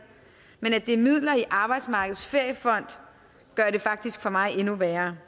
men at det er midler i arbejdsmarkedets feriefond gør det faktisk for mig endnu værre